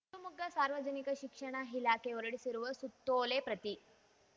ಶಿವಮೊಗ್ಗ ಸಾರ್ವಜನಿಕ ಶಿಕ್ಷಣ ಇಲಾಖೆ ಹೊರಡಿಸಿರುವ ಸುತ್ತೋಲೆ ಪ್ರತಿ